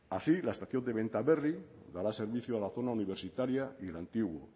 así la estación de bentaberri daba servicio a la zona universitaria y el antiguo